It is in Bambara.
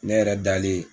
Ne yɛrɛ dalen